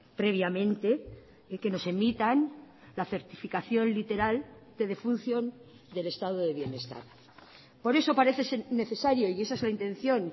previamente y que nos emitan la certificación literal de defunción del estado de bienestar por eso parece ser necesario y esa es la intención